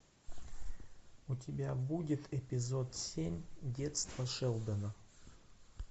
у тебя будет эпизод семь детство шелдона